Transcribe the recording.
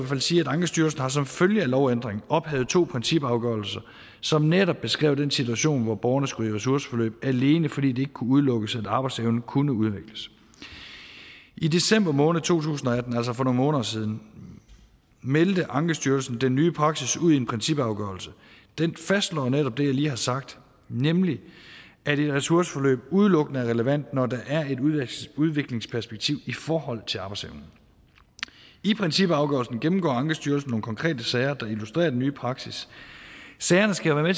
fald sige at ankestyrelsen som følge af lovændringen ophævet to principafgørelser som netop beskrev den situation hvor borgerne skulle i ressourceforløb alene fordi det ikke kunne udelukkes at arbejdsevnen kunne udvikles i december måned to tusind og atten altså for nogle måneder siden meldte ankestyrelsen den nye praksis ud i en principafgørelse den fastslår netop det jeg har lige har sagt nemlig at et ressourceforløb udelukkende er relevant når der er et udviklingsperspektiv i forhold til arbejdsevnen i principafgørelsen gennemgår ankestyrelsen nogle konkrete sager der illustrerer den nye praksis sagerne skal være